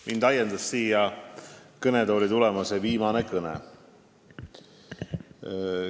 Mind ajendas siia kõnetooli tulema see viimane kõne.